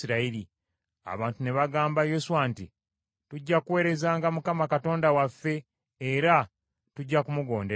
Abantu ne bagamba Yoswa nti, “Tujja kuweerezanga Mukama Katonda waffe era tujja kumugonderanga.”